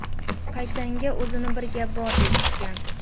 Qaytanga, o‘zini bir gap bordek tutgan.